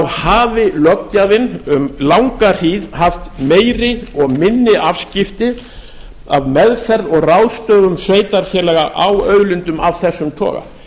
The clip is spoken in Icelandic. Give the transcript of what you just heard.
hafi löggjafinn um langa hríð haft meiri og minni afskipti af meðferð og ráðstöfun sveitarfélaga á auðlindum af þessum toga